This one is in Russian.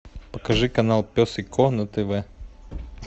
покажи канал пес и ко на тв